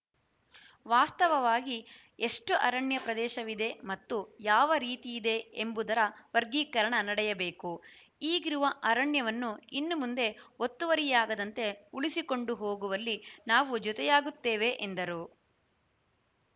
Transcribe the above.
ವಾಸ್ತವವಾಗಿ ಎಷ್ಟುಅರಣ್ಯ ಪ್ರದೇಶವಿದೆ ಮತ್ತು ಯಾವ ರೀತಿಯಿದೆ ಎಂಬುದರ ವರ್ಗೀಕರಣ ನಡೆಯಬೇಕು ಈಗಿರುವ ಅರಣ್ಯವನ್ನು ಇನ್ನು ಮುಂದೆ ಒತ್ತುವರಿಯಾಗದಂತೆ ಉಳಿಸಿಕೊಂಡು ಹೋಗುವಲ್ಲಿ ನಾವು ಜೊತೆಯಾಗುತ್ತೇವೆ ಎಂದರು